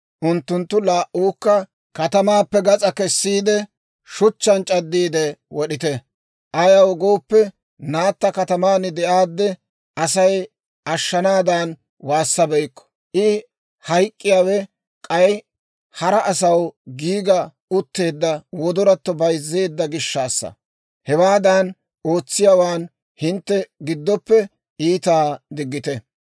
unttuntta laa"uwaakka katamaappe gas'aa kessiide, shuchchaan c'addiide wod'ite. Ayaw gooppe, naatta kataman de'aadde, Asay ashshanaadan waassabeykku. I hayk'k'iyaawe k'ay hara asaw giiga utteedda wodoratto bayzzeedda gishshaassa. Hewaadan ootsiyaawaan hintte giddoppe iitaa diggite.